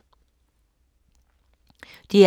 DR P2